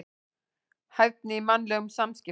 Hæfni í mannlegum samskiptum.